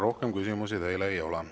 Rohkem küsimusi teile ei ole.